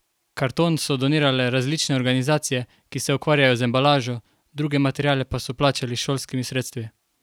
Karton so donirale različne organizacije, ki se ukvarjajo z embalažo, druge materiale pa so plačali s šolskimi sredstvi.